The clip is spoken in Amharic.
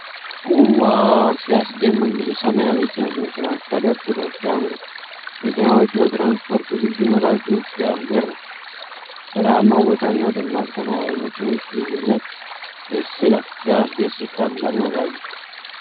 ዋው! ሲያስደምም! ብዙ ሰማያዊ የጭነት መኪናዎች ተደርድረው ሲያምሩ! መኪናዎቹ ለትራንስፖርት ዝግጁነታቸው ሲያስገርም! በረሃማው ቦታና ደማቅ ሰማያዊ መኪኖች ልዩነት ደስ ይላል። ሲያስደስት! ታላቅ መጋዘን!